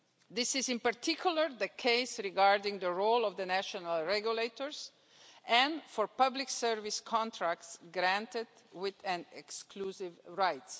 This is, in particular, the case regarding the role of the national regulators and for public service contracts granted with an exclusive right.